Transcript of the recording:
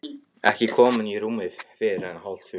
Ekki komin í rúmið fyrr en hálftvö.